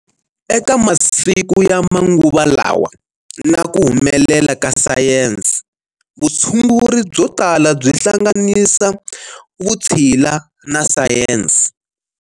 Eka masiku ya manguva lawa na ku humelela ka Sayensi, vutshunguri byo tala by hlanganisa Vutshila na Sayensi.